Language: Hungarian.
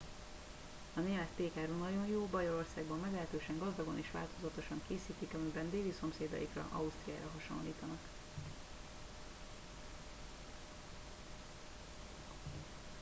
a német pékáru nagyon jó bajorországban meglehetősen gazdagon és változatosan készítik amiben déli szomszédaikra ausztriára hasonlítanak